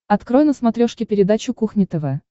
открой на смотрешке передачу кухня тв